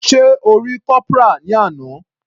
Sé O rí Corporal ní àná.